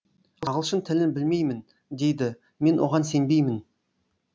ағылшын тілін білмеймін дейді мен оған сенбеймін